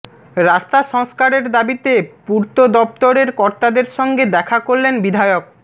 রাস্তা সংস্কারের দাবিতে পূর্ত দফতরের কর্তাদের সঙ্গে দেখা করলেন বিধায়ক